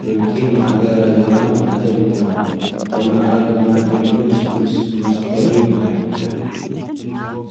ፍርቒ ማእገራ ዘሎ ማዕተብ ይበሃል ቑኖኣ ድማ ግልብጭ ምስ መስቀሉ ይበሃል ።